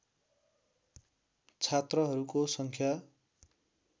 छात्रहरूको सङ्ख्या